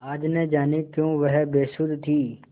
आज न जाने क्यों वह बेसुध थी